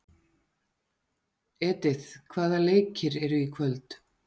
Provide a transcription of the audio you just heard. Edith, hvaða leikir eru í kvöld?